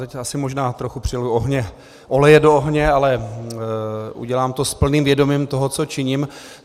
Teď asi možná trochu přileju oleje do ohně, ale udělám to s plným vědomím toho, co činím.